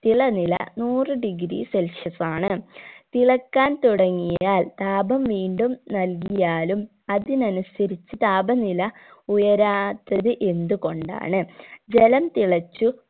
തിളനില നൂറ് degree celsius ആണ് തിളക്കാൻ തുടങ്ങിയാൽ താപം വീണ്ടും നൽകിയാലും അതിനനുസരിച്ചു താപനില ഉയരാത്തത് എന്ത് കൊണ്ടാണ് ജലം തിളച്ചു